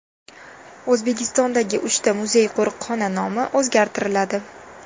O‘zbekistondagi uchta muzey-qo‘riqxona nomi o‘zgartiriladi.